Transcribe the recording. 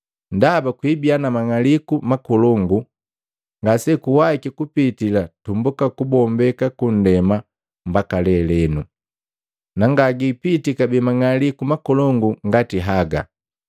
Ndaba kuibiya na mang'aliku makolongu ngasekuwahiki kupitii tumbuka kubombeka kunndema mbaka lelenu, na ngagipiti kabee mang'aliku makolongu ngati haga.